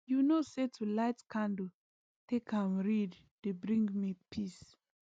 you know say to light candle take am read dey bring me peace